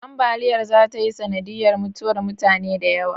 Ambaliyar zata yi sanadiyar mutuwar mutane da yawa